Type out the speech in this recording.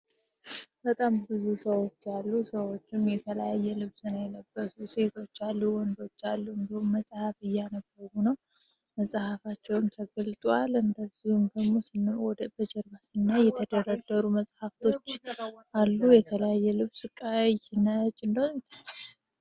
በጣም ብዙ ሰዎች ያሉ ሰዎች አሉ የተላየ ልብስን ይለበሱ ሴቶች አሉ ወንዶች አሉንድሆን መጽሐፍ እያነበቡ ነው መጽሐፋቸውን ተገልጡ አል እንደዙን ደሞ ስወደ በጀርማስ እና የተደረደሩ መጽሐፍቶች አሉ የተላየ ልብስ ቃ ይህናች።